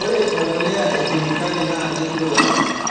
Ore embolea e kemikali naa kelio